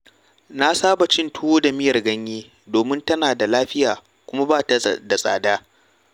Na saba cin tuwo da miyar ganye domin tana da lafiya kuma ba ta da tsada.